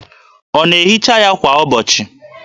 Ọ na-ehicha ha kwa ụbọchị?